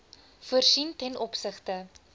voorsien ten opsigte